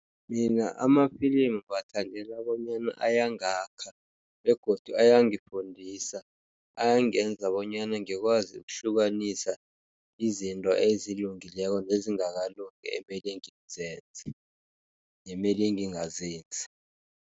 Mina amafilimu ngiwathandela bonyana ayangakha, begodu ayangifundisa, ayangenza bonyana ngikwazi ukuhlukanisa izinto ezilungileko, nezingakalungi emele ngizenze, nemele ngingazenzi.